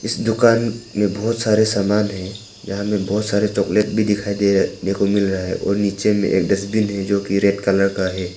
दुकान में बहुत सारे सामान हैं यहां में बहुत सारे चॉकलेट भी दिखाई दे रहा ने को मिल रहा है और नीचे में एक डस्टबिन है जो कि रेड कलर का है।